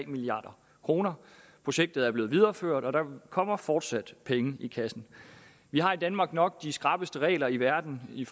milliard kroner projektet er blevet videreført og der kommer fortsat penge i kassen vi har i danmark nok de skrappeste regler i verden i